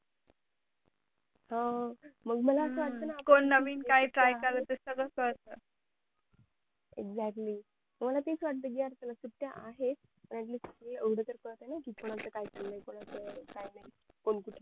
अह मग मला असं वाटतं ना कोण नवीन काय try करत आहे ते सगळं कळत exactly मला तेच वाटतं कि यार चला सुट्ट्या आहेत